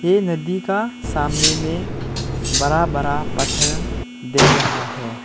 ये नदी का सामने में बड़ा बड़ा पत्थर देख रहा है।